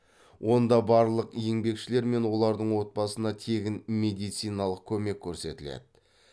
онда барлық еңбңешілер мен олардың отбасына тегін медициналық көмек көрсетіледі